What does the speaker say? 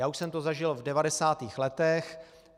Já už jsem to zažil v 90. letech.